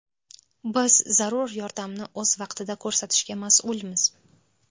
Biz zarur yordamni o‘z vaqtida ko‘rsatishga mas’ulmiz.